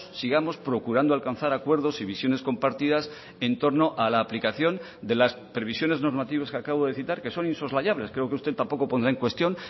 sigamos procurando alcanzar acuerdos y visiones compartidas en torno a la aplicación de las previsiones normativas que acabo de citar que son insoslayables creo que usted tampoco pondrá en cuestión